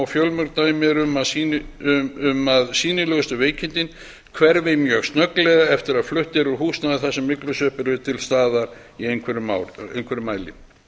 fjölmörg dæmi eru um að sýnilegustu veikindin hverfi mjög snögglega eftir að flutt er úr húsnæði þar sem myglusveppir eru til staðar í einhverjum mæli